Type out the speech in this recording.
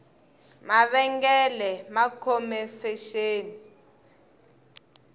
mavengele ma khome fexeni